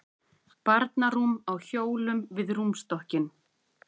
Barnarúm á hjólum við rúmstokkinn.